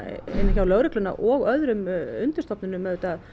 hjá lögreglunni og öðrum undirstofnunum